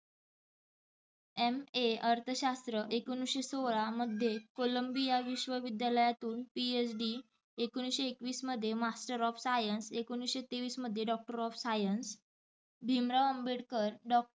MA अर्थशास्त्र एकोणिसशे सोळा मध्ये कोलंबिया विश्व विद्यालयातून PhD एकोणिसशे एकवीस मध्ये Master of science एकोणिसशे तेवीस मध्ये Doctor of science Bhimrao Ambedkar doc